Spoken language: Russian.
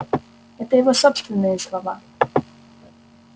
это его собственные слова